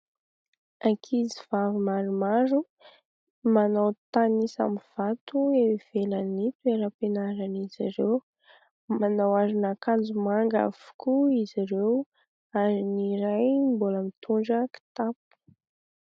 Ankizy vavy maromaro manao tanisa amin'ny vato eo ivelan'ny toeram-pianaran'izy ireo, manao aron'akanjo manga avokoa izy ireo ary ny iray mbola mitondra kitapo.